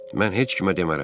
Mən heç kimə demərəm.